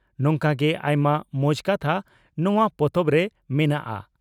ᱱᱚᱝᱠᱟ ᱜᱮ ᱟᱭᱢᱟ ᱢᱚᱸᱡᱽ ᱠᱟᱛᱷᱟ ᱱᱚᱣᱟ ᱯᱚᱛᱚᱵᱨᱮ ᱢᱮᱱᱟᱜᱼᱟ ᱾